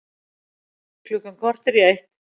Klukkan korter í eitt